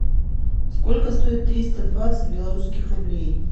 сколько стоит триста двадцать белорусских рублей